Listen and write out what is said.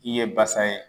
I ye basa ye